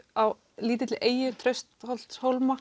á lítilli eyju